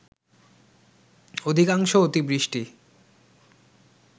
অধিকাংশ অতিবৃষ্টি